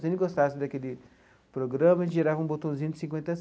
Se ele gostasse daquele programa, ele girava um botãozinho de cinquenta a.